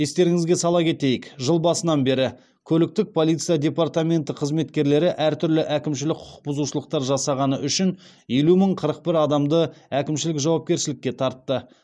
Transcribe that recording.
естеріңізге сала кетейік жыл басынан бері көліктік полиция департаменті қызметкерлері әртүрлі әкімшілік құқық бұзушылықтар жасағаны үшін елу мың қырық бір адамды әкімшілік жауапкершілікке тартты